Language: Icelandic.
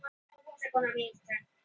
Ég er þó vissulega vonsvikinn og sár.